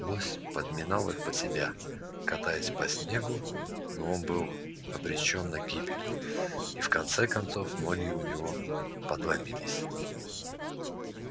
лось подминал их под себя катаясь по снегу но он был обречён на гибель и в конце концов ноги у него подломились